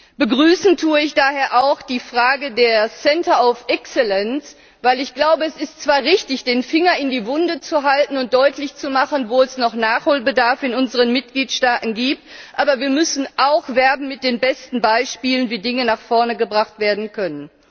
Ich begrüße daher auch die Angelegenheit der Exzellenzzentren, weil ich glaube, es ist zwar richtig, den Finger in die Wunde zu legen und deutlich zu machen, wo es noch Nachholbedarf in unseren Mitgliedstaaten gibt, aber wir müssen auch mit den besten Beispielen werben, wie Dinge nach vorne gebracht werden können.